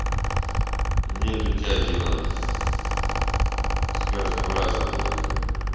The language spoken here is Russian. нету тяги на с каждым разом блять